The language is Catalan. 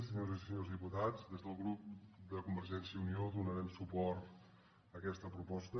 senyores i senyors diputats des del grup de convergència i unió donarem suport a aquesta proposta